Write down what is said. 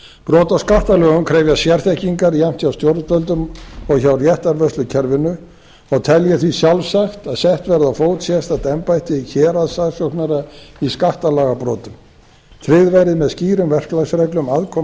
brot á skattalögum krefjast sérþekkingar jafnt hjá stjórnvöldum og hjá réttarvörslukerfinu og tel ég því sjálfsagt að sett verði á fót sérstakt embætti héraðssaksóknara í skattalagabrotum tryggð verði með skýrum verklagsreglum aðkoma saksóknara